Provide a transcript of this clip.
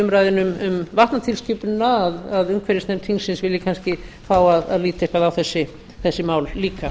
umræðunni um vatnatilskipunina að umhverfisnefnd þingsins vilji kannski fá að líta eitthvað á þessi mál líka